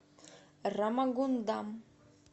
рамагундам